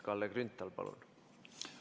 Kalle Grünthal, palun!